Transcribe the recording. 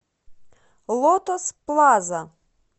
лотос плаза